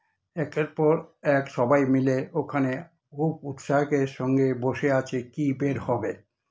একের পর এক সবাইমিলে ওখানে খুব উৎসাকের সঙ্গে বসে আছে কি বের হবে।